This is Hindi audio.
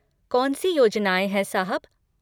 कौन सी योजनाएँ हैं, साहब?